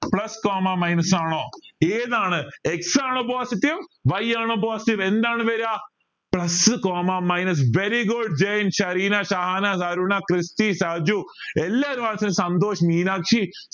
plus comma minus ആണോ ഏതാണ് x ആണോ positive y ആണോ positive എന്താണ് വര plus comma minus very good Jain Shereena Shahana Aruna Christy Saju എല്ലാരും സന്തോഷ് മീനാക്ഷി